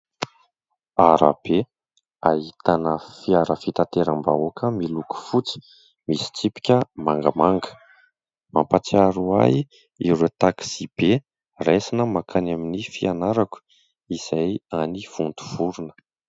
Arabe ahitana fiara fitateram-bahoaka, miloko fotsy, misy tsipika mangamanga, mampahatsiaro ahy ireo taksibe raisina mankany amin'ny fianarako, izay any Vontovorona.